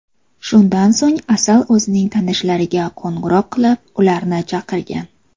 Shundan so‘ng Asal o‘zining tanishlariga qo‘ng‘iroq qilib, ularni chaqirgan.